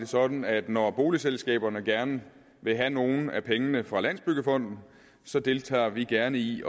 sådan at når boligselskaberne gerne vil have nogle af pengene fra landsbyggefonden så deltager vi gerne i